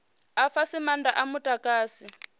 a fhasi maanda a mudagasi